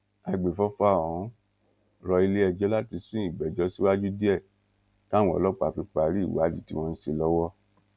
àgbẹfọfà ọhún rọ iléẹjọ láti sún ìgbẹjọ síwájú díẹ káwọn ọlọpàá fi parí ìwádìí tí wọn ń ṣe lọwọ